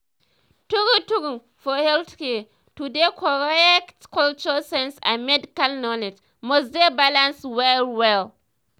true true! for healthcare to dey correctcultural sense and medical knowledge must dey balance well-well.